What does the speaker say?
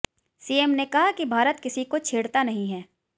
CM ने कहा कि भारत किसी को छेड़ता नहीं है